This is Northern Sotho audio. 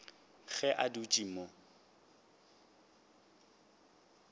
ge a dutše a mo